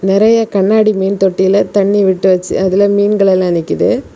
நிறைய கண்ணாடி மீன் தொட்டில தண்ணி விட்டு வச்சு அதுல மீன்கள் எல்லா நிக்குது.